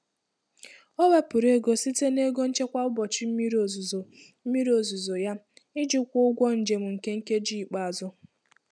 O wepụrụ ego site na ego nchekwa ụbọchị mmiri ozuzo mmiri ozuzo ya iji kwụọ ụgwọ njem nke nkeji ikpeazụ.